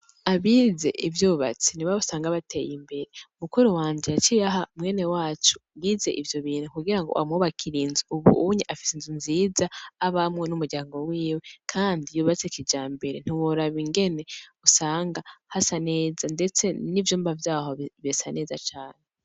Abize ivyubatsi ni ba usanga bateye imbere mukuru wanje yaciraha mwene wacu wize ivyo binntu kugira ngo wamwubakira inzu ubunyi afise inzu nziza abamwe n'umuryango wiwe, kandi yubatse kija mbere ntworaba ingene usanga hasa neza, ndetse n'ivyumba vyaho besa neza cane.